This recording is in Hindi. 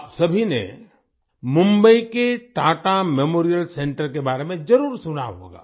आप सभी ने मुंबई के टाटा मेमोरियल सेंटर के बारे में ज़रूर सुना होगा